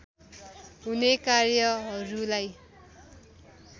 हुने कार्यहरूलाई